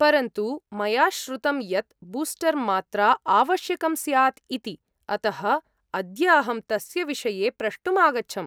परन्तु मया श्रुतं यत् बूस्टर् मात्रा आवश्यकं स्यात् इति, अतः अद्य अहं तस्य विषये प्रष्टुम् आगच्छम्।